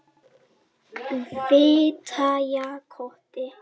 Fitjakoti